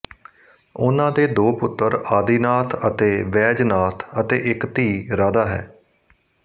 ਉਨ੍ਹਾਂ ਦੇ ਦੋ ਪੁੱਤਰ ਆਦਿਨਾਥ ਅਤੇ ਵੈਜਨਾਥ ਅਤੇ ਇੱਕ ਧੀ ਰਾਧਾ ਹੈ